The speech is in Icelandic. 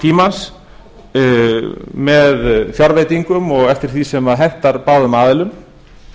tímans með fjárveitingum og eftir því sem hentar báðum aðilum